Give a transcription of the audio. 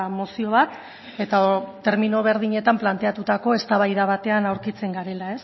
mozio bat eta termino berdinetan planteatutako eztabaida batean aurkitzen garela